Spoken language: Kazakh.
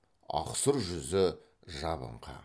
ақсұр жүзі жабыңқы